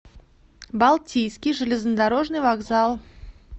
балтийский железнодорожный вокзал